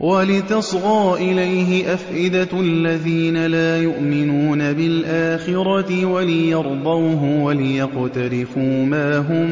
وَلِتَصْغَىٰ إِلَيْهِ أَفْئِدَةُ الَّذِينَ لَا يُؤْمِنُونَ بِالْآخِرَةِ وَلِيَرْضَوْهُ وَلِيَقْتَرِفُوا مَا هُم